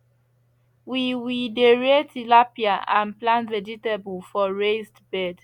we we dey rear tilapia and plant vegetable for raised bed